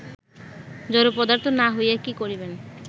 জড়পদার্থ না হইয়া কি করিবেন